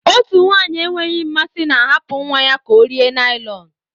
Otu nwanyị enweghị mmasị na-ahapụ nwa ya ka ọ rie naịlọn.